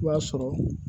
I b'a sɔrɔ